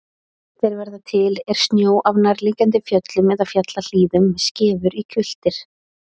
Þeir verða til er snjó af nærliggjandi fjöllum eða fjallahlíðum skefur í hvilftir.